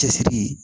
Cɛsiri